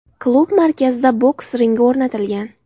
Klub markazida boks ringi o‘rnatilgan.